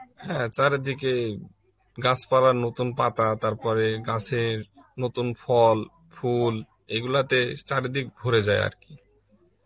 হ্যাঁ চারিদিকে গাছপালার নতুন পাতা তারপরে গাছের নতুন ফল, ফুল এইগুলাতে চারিদিক ভরে যায় আর কি